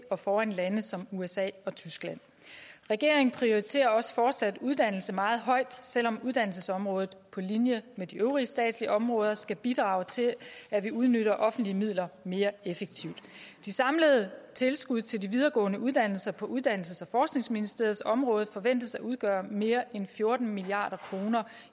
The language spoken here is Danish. og foran lande som usa og tyskland regeringen prioriterer også fortsat uddannelse meget højt selv om uddannelsesområdet på linje med de øvrige statslige områder skal bidrage til at vi udnytter offentlige midler mere effektivt de samlede tilskud til de videregående uddannelser på uddannelses og forskningsministeriets område forventes at udgøre mere end fjorten milliard kroner